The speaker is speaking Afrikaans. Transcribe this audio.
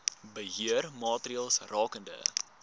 beheer maatreëls rakende